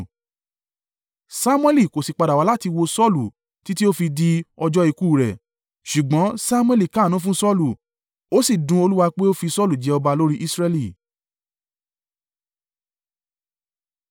Samuẹli kò sì padà wá mọ́ láti wo Saulu títí ó fi di ọjọ́ ikú u rẹ̀, ṣùgbọ́n Samuẹli káàánú fún Saulu. Ó sì dun Olúwa pé ó fi Saulu jẹ ọba lórí Israẹli.